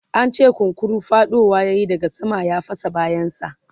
an ce kunkuru faɗowa yayi daga sama ya fasa bayan sa